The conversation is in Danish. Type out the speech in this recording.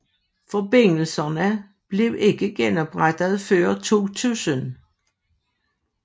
Forbindelserne blev ikke genoprettede før 2000